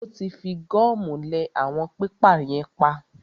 Ó tí fi gọ́mù lẹ àwọn pépà yẹn pap.